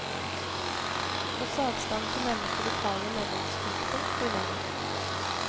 Også avstanden til nærmeste lokale medlemsknutepunkt blir lenger.